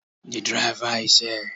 The driver is here